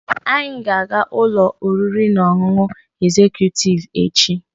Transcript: We will Anyị ga-aga ụlọ oriri na ọṅụṅụ egzekutiivu echi.